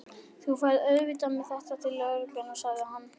Þú ferð auðvitað með þetta til lögreglunnar, sagði hann.